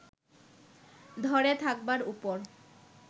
ধরে থাকবার উপর